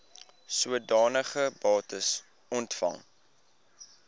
sodanige bates ontvang